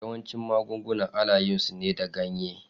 Yawancin magunguna ana yin su ne da ganye.